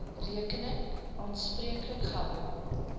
rekening aanspreeklik gehou